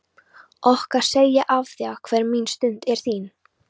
Okkar segi ég afþvíað hver mín stund er þín.